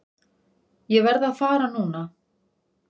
Ég verð að fara núna!